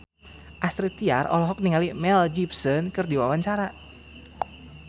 Astrid Tiar olohok ningali Mel Gibson keur diwawancara